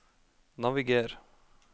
naviger